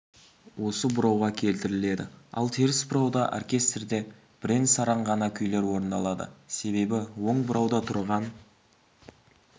осы бұрауға келтіріледі ал теріс бұрауда оркестрде бірен-саран ғана күйлер орындалады себебі оң бұрауда тұрған